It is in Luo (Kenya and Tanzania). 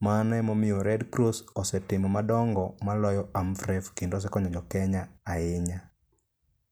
Mano emomiyo Red Cross osetimo madongo maloyo AMREF kendo osekonyo jo Kenya ahinya.